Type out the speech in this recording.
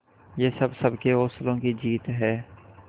ये हम सबके हौसलों की जीत है